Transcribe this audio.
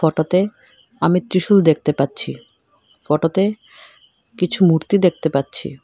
Photo -তে আমি ত্রিশূল দেখতে পাচ্ছি ফটো -তে কিছু মূর্তি দেখতে পাচ্ছি।